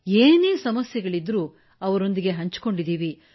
ಏನೇ ಸಮಸ್ಯೆಗಳಿದ್ದರೂ ಅವರೊಂದಿಗೆ ಹಂಚಿಕೊಂಡೆವು